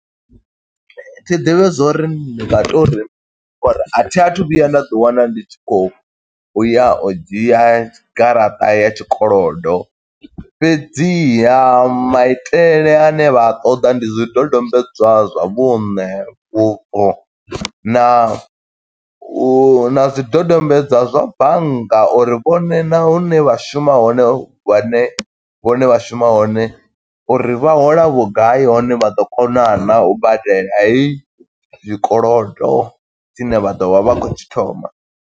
Thi ḓivhi zwo uri ndi nga to ri, uri a thi a thu vhuya nda ḓi wana ndi tshi khou ya u dzhia garaṱa ya tshikolodo. Fhedziha maitele a ne vha a ṱoḓa ndi zwidodombedzwa zwa vhuṋe, vhubvo, na u na zwidodombedzwa zwa bannga. Uri vhone na hune vha shuma hone vhane vhone vha shuma hone, uri vha hola vhugai hone vha ḓo kona naa, u badela heyi zwikolodo tshine vha ḓovha vha khou tshi thoma.